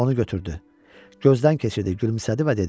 Onu götürdü, gözdən keçirdi, gülümsədi və dedi: